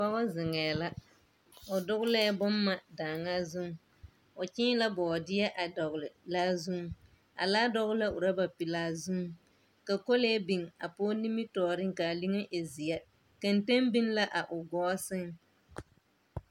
Pɔge zeŋɛɛ la, o dogelɛɛ bomma daaŋaa zuŋ. O kyẽẽ la bɔɔdeɛ a dɔgele laa zuŋ. A laa dɔgele la orɔba pelaa zuŋ, ka kolee biŋ a pɔge nimitɔɔreŋ kaa liŋe e zeɛ. Kenteŋ biŋ la a o gɔɔ seŋ.